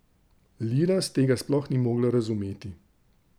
Liraz tega sploh ni mogla razumeti.